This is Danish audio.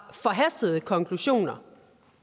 forhastede konklusioner